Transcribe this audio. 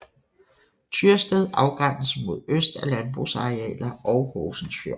Tyrsted afgrænses mod øst af landbrugsarealer og Horsens Fjord